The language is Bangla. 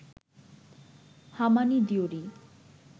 হামানি দিওরি